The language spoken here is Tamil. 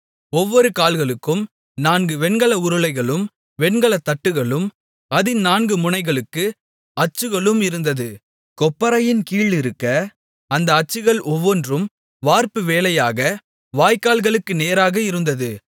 ஒவ்வொரு கால்களுக்கும் நான்கு வெண்கல உருளைகளும் வெண்கலத் தட்டுகளும் அதின் நான்கு முனைகளுக்கு அச்சுகளும் இருந்தது கொப்பரையின் கீழிருக்க அந்த அச்சுகள் ஒவ்வொன்றும் வார்ப்பு வேலையாக வாய்க்கால்களுக்கு நேராக இருந்தது